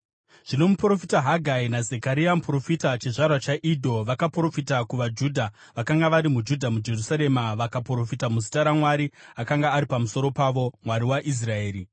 Zvino muprofita Hagai naZekaria muprofita, chizvarwa chaIdho, vakaprofita kuvaJudha vakanga vari muJudha muJerusarema, vakaprofita muzita raMwari akanga ari pamusoro pavo, Mwari waIsraeri.